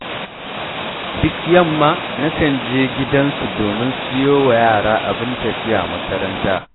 Duk yamma nakan je gidan su domin siyo wa yara abin tafiya makaranta